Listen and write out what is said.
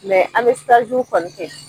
an mɛ kɔni kɛ.